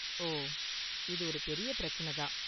ஓ, இது ஒரு பெரிய பிரச்சன தான்.